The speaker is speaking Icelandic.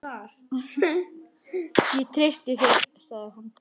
Ég treysti þér sagði hún.